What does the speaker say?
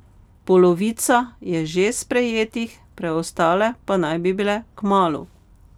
Polovica je že sprejetih, preostale pa naj bi bile kmalu.